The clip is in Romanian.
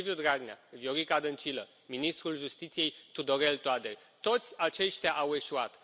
Liviu Dragnea, Viorica Dăncilă, ministrul Justiției, Tudorel Toader, toți aceștia au eșuat.